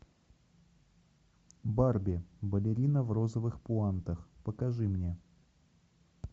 барби балерина в розовых пуантах покажи мне